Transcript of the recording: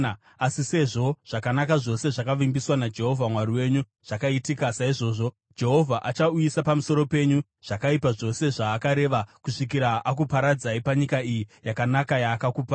Asi sezvo zvakanaka zvose zvakavimbiswa naJehovha Mwari wenyu zvakaitika, saizvozvo Jehovha achauyisa pamusoro penyu zvakaipa zvose zvaakareva kusvikira akuparadzai panyika iyi yakanaka, yaakakupai.